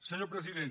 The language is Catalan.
senyor president